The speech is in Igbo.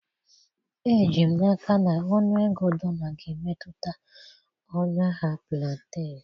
Eji m n'aka na ọnụego dollar ga-emetụta ọnụ ahịa plantain.